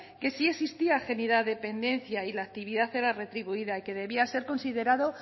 que sí existía dependencia y la actividad era retribuida y que debía ser considerado